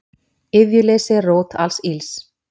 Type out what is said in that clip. Iðjuleysi er rót alls ills.